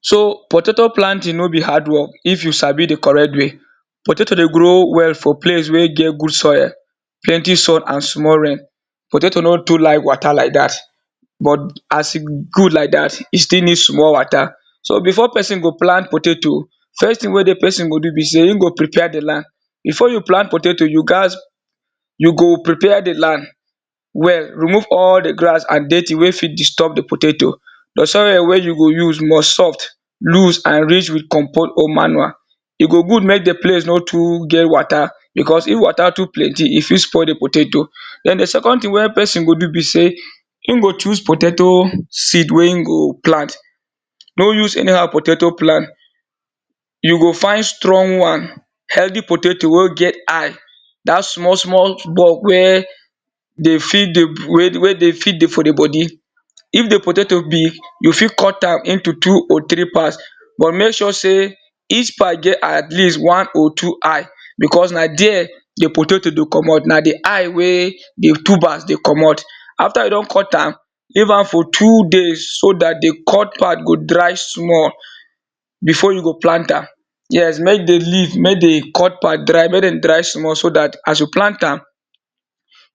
So potato planting no be hard work if you sabi di correct way, potato dey grow well for place wey get good soil, healthy soil and small rain, potato no too like water like dat. But as e good like dat e still need small water so before person go plant potato first thing wey di person go do be say in go prepare di land before you plant potato you gats you go prepare di land well, remove all di grass and dirty wey fit disturbed di potato your soil wey you go use must soft lose and rich with comp or manure. E go good make the places no to get water because if water to plenty e fit spoil di potato den di second thing wey person go do be say In go choose potato seed wey e go plant. No use any how potato plant you go find strong one healthy potato wey get eye dat small small bug were wey dey fit dey wey dey fit dey for di body. If di potato big you fit cut am into three or two part but make sure say each part get at least one or two eye because na there di potato dey komot na di eye wey di tubers dey komot. After you don cut am leave am for two days so dat di cut part go dry small before you go plant am yes make dey leave make dey cut part make dey dry small so dat as you plant am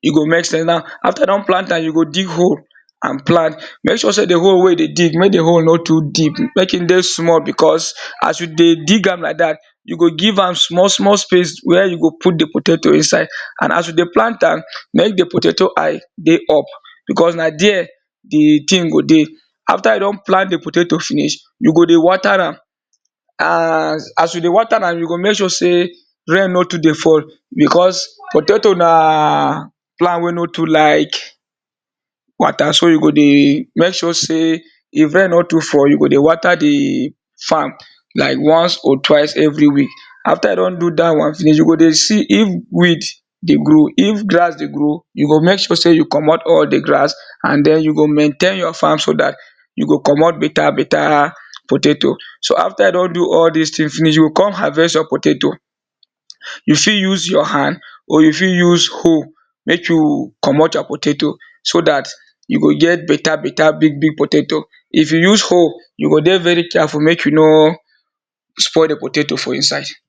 e go make sense na after you don plant am you go dig hole and plan make sure say di hole wey you dey dig make e no to deep make e dey small because as you dey dig am like dat you go give am small small space wey you go put di potato inside, and as you dey plant am make di potato eye dey up because di thing go dey after you don plant di potato finish you go dey water as and as you dey water am you sure say rain no to dey fall because potato na plant wey no to like water. so you go dey make sure say if rain no to fall you go dey water di farm like once or twice every week after you don do dat one finish you go dey see if weed dey grow if grass dey grow you go make sure say you komot all di grass and den you go maintain your farm so dat you go komot better better potato so after you don do all dis things finish you go come harvest your potato you fit use your hand or you fit use hole make you komot your potato so dat make you get better big big potato if you use hole you go dey very care full make you no spoil di potato for inside.